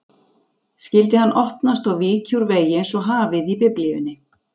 Skyldi hann opnast og víkja úr vegi einsog hafið í Biblíunni?